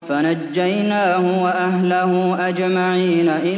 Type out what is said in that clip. فَنَجَّيْنَاهُ وَأَهْلَهُ أَجْمَعِينَ